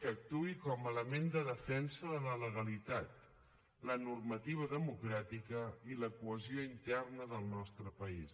que actuï com a element de defensa de la legalitat la normativa democràtica i la cohesió interna del nostre país